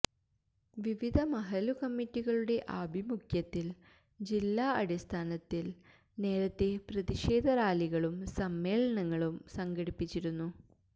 വിവിധ മഹല്ലു കമ്മിറ്റികളുടെ ആഭിമുഖ്യത്തില് ജില്ലാ അടിസ്ഥാനത്തില് നേരത്തെ പ്രതിഷേധ റാലികളും സമ്മേളനങ്ങളും സംഘടിപ്പിച്ചിരുന്നു